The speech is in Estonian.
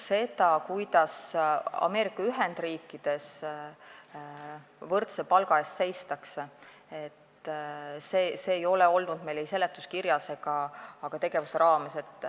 Seda, kuidas Ameerika Ühendriikides võrdse palga eest seistakse, ei ole meil ei seletuskirjas ega olnud see kõne all ka tegevuse raames.